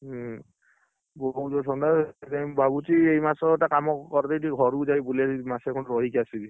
ହୁଁ, ବହୁତ ଜୋରେ ଥଣ୍ଡା ସେଇଥିପାଇଁ ମୁ ଭାବୁଛି ଏଇ ମାସ ଟା କାମ କରିଦେଇକି ଟିକେ ଘରକୁ ଜଇ ବୁଲିଆସିବି ମାସେ ଖଣ୍ଡେ ରହିକି ଆସିବି।